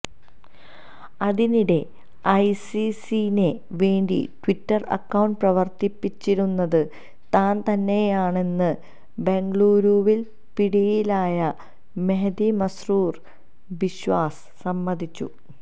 അതിനിടെ ഐസിസിനേ വേണ്ടി ട്വിറ്റർ അക്കൌണ്ട് പ്രവർത്തിപ്പിച്ചിരുന്നത് താൻ തന്നെയാണെന്ന് ബെംഗളൂരുവിൽ പിടിയിലായ മെഹ്ദി മസ്രൂർ ബിശ്വാസ് സമ്മതിച്ചു